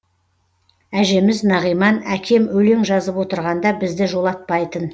әжеміз нағиман әкем өлең жазып отырғанда бізді жолатпайтын